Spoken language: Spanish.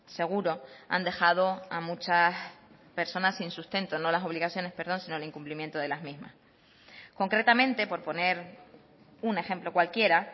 seguro han dejado a muchas personas sin sustento no las obligaciones perdón sino el incumplimiento de las mismas concretamente por poner un ejemplo cualquiera